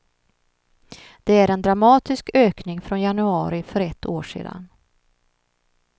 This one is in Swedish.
Det är en dramatisk ökning från januari för ett år sedan.